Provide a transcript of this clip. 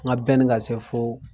An ka ka se fo